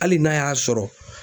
Hali n'a y'a sɔrɔ